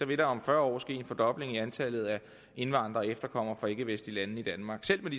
vil der om fyrre år ske en fordobling af antallet af indvandrere og efterkommere fra ikkevestlige lande i danmark selv med